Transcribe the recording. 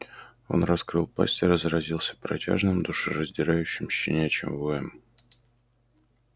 он раскрыл пасть и разразился протяжным душераздирающим щенячьим воем